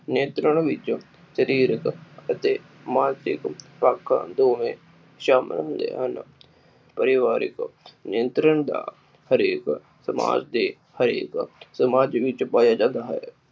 ਨਿਯੰਤਰਣ ਵਿੱਚ ਸ਼ਰੀਰਕ ਅਤੇ ਮਾਨਸਿਕ ਪੱਖ ਦੋਵੇ ਸ਼ਾਮਿਲ ਹੁੰਦੇ ਹਨ। ਪਰਿਵਾਰਿਕ ਨਿਯੰਤਰਣ ਦਾ ਹਰੇਕ ਸਮਾਜ ਦੀ ਹਰੇਕ ਸਮਾਜ ਵਿਚ ਪਾਇਆ ਜਾਂਦਾ ਹੈ।